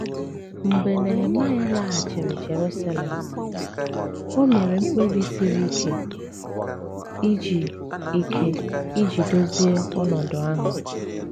Mgbe Nehemaịa laghachiri Jerusalem, o mere mkpebi siri ike iji ike iji dozie ọnọdụ ahụ.